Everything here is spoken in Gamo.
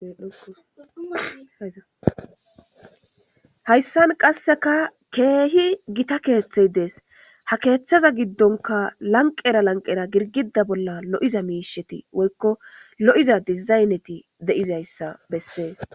Hayssan qasseka keehi gita keeththey dees ha keeththaza giddonka lanqera lanqera girgida bolla lo7iza miisheti woykko lo7iza dizayneti deizayssa bessees.